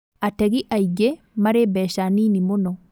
Ategi aingĩ marĩ mbeca nini mũno